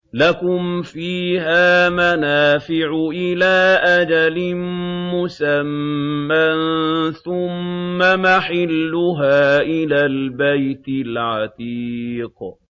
لَكُمْ فِيهَا مَنَافِعُ إِلَىٰ أَجَلٍ مُّسَمًّى ثُمَّ مَحِلُّهَا إِلَى الْبَيْتِ الْعَتِيقِ